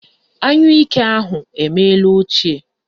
Anyụike ahụ emeela ochie